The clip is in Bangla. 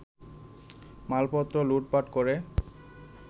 মালপত্র লুটপাট করে